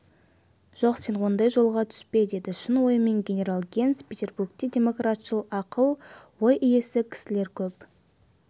жоқ сен ондай жолға түспе деді шын ойымен генерал генс петербургте демократшыл ақыл ой иесі кісілер көп